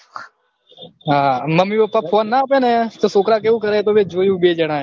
હા mummy papa phone ના ઓપેને તો છોકરા કેવું કરે એ તો જોયું બે જણા એ